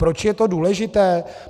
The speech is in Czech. Proč je to důležité?